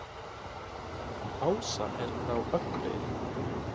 Ása er frá Akureyri.